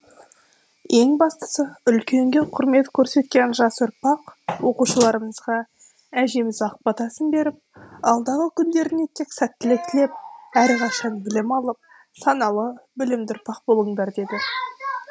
ең бастысы үлкенге құрмет көрсеткен жас ұрпақ оқушыларымызға әжеміз ақ батасын беріп алдағы күндеріне тек сәттілік тілеп әрқашан білім алып саналы білімді ұрпақ болыңдар деді